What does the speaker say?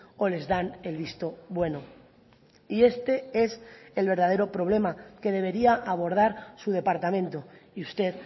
o les dan el visto bueno y este es el verdadero problema que debería abordar su departamento y usted